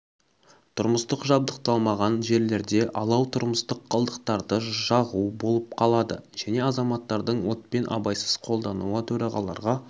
тұрмыстық жабдықталмаған жерлерде алау тұрмыстық қалдықтарды жағу болып қалады және азаматтардың отпен абайсыз қолдануы төрағаларға